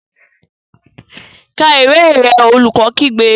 Ka ìwé rẹ! Olùkọ́ kígbe.